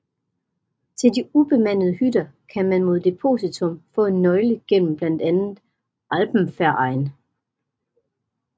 Til de ubemandede hytter kan man mod depositum få en nøgle gennem blandt andet Alpenverein